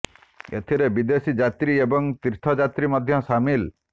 ଏଥିରେ ବିଦେଶୀ ଯାତ୍ରୀ ଏବଂ ତୀର୍ଥ ଯାତ୍ରୀ ମଧ୍ୟ ସାମିଲ